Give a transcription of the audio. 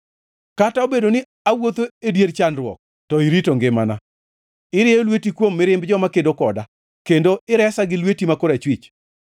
Kata obedo ni awuotho e dier chandruok, to irito ngimana; irieyo lweti kuom mirimb joma kedo koda, kendo iresa gi lweti ma korachwich.